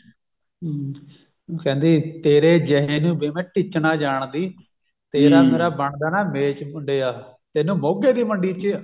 ਹਮ ਕਹਿੰਦੇ ਤੇਰੇ ਜਿਹੇ ਨੂੰ ਵੇ ਮੈ ਟਿੱਚ ਨਾ ਜਾਣਦੀ ਤੇਰਾ ਮੇਰਾ ਬਣਦਾ ਨਾ ਮੇਚ ਮੁੰਡਿਆਂ ਤੈਨੂੰ ਮੋਗੇ ਦੀ ਮੰਡੀ ਚ